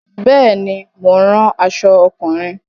Bẹ́ẹ̀ ni, mo ń ran aṣọ ọkùnrin.